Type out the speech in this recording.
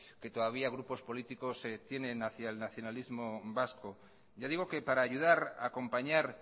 que todavía grupos políticos tienen hacia el nacionalismo vasco ya digo que para ayudar acompañar